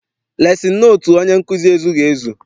Lesin notu onye nkụzi ezughị ezu.